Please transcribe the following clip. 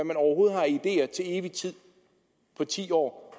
man overhovedet har af ideer til evig tid på ti år